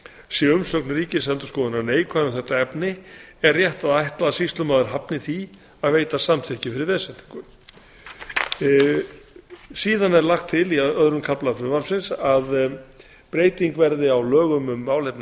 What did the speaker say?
sé umsögn ríkisendurskoðunar neikvæð um þetta efni er rétt að ætla að sýslumaður hafni því að veita samþykki fyrir veðsetningu síðan er lagt til í öðrum kafla frumvarpsins að breyting verði á lögum um málefni